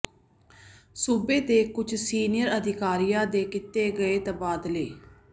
ਸੂਬੇ ਦੇ ਕੁੱਝ ਸੀਨੀਅਰ ਅਧਿਕਾਰੀਆਂ ਦੇ ਕੀਤੇ ਗਏ ਤਬਾਦਲੇ